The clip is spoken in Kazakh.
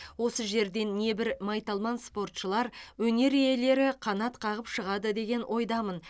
осы жерден небір майталман спортшылар өнер иелері қанат қағып шығады деген ойдамын